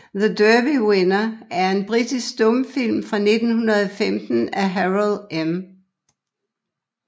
The Derby Winner er en britisk stumfilm fra 1915 af Harold M